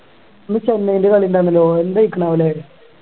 ഇന്ന് ചെന്നൈയില് കളിയുണ്ടാരുന്നല്ലോ എന്തായിക്ക്ണാവൂല്ലേ